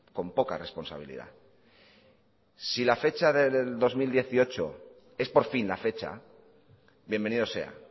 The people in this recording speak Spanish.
con poca responsabilidad si la fecha del dos mil dieciocho es por fin la fecha bienvenido sea